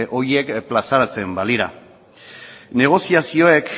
horiek plazaratzen balira negoziazioek